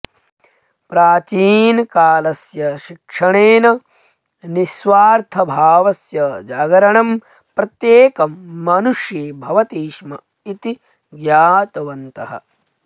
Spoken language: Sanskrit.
प्राचीनकालस्य शिक्षणेन निस्वार्थभावस्य जागरणं प्रत्येकं मनुष्ये भवति स्म इति ज्ञातवन्तः